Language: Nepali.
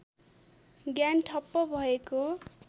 ज्ञान ठप्प भएको